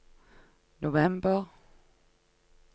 november